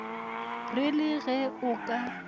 re le ge o ka